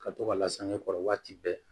Ka to ka lasage kɔrɔ waati bɛɛ